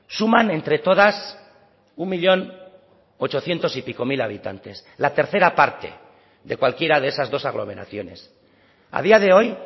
suman entre todas un millón ochocientos y pico mil habitantes la tercera parte de cualquiera de esas dos aglomeraciones a día de hoy